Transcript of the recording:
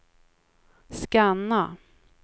scanna